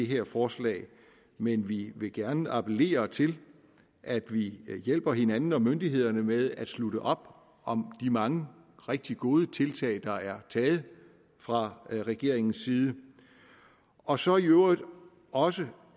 her forslag men vi vil gerne appellere til at vi hjælper hinanden og myndighederne med at slutte op om de mange rigtig gode tiltag der er taget fra regeringens side og så i øvrigt også